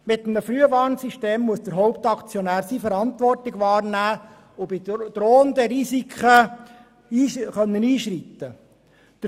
Mit einem Frühwarnungssystem muss der Hauptaktionär seine Verantwortung wahrnehmen, sodass bei drohenden Risiken eingeschritten werden kann.